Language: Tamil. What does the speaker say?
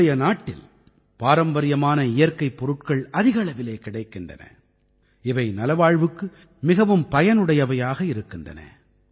நம்முடைய நாட்டில் பாரம்பரியமான இயற்கைப் பொருட்கள் அதிக அளவிலே கிடைக்கின்றன இவை நலவாழ்வுக்கு மிகவும் பயனுடையவையாக உள்ளன